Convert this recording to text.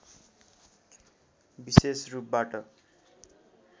विशेष रूपबाट